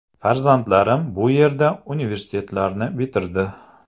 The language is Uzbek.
Farzandlarim bu yerda universitetlarni bitirdi.